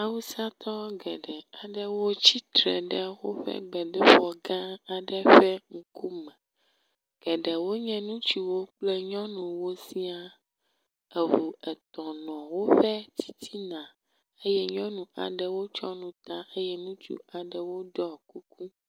Awusatɔ geɖe aɖewo tsitre ɖe woƒe gbedoxɔ gã aɖe ƒe ŋkume. Geɖewo nye ŋutsuwo kple nyɔnuwo sia. Eŋu etɔ̃ nɔ woƒe titina eye nyɔnu aɖe tsɔ nu ta eye ŋutsu aɖewo ɖɔ kuku.